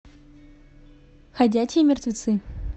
ходячие мертвецы